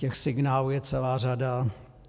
Těch signálů je celá řada.